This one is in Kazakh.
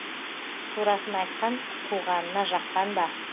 турасын айтқан туғанына жаққан ба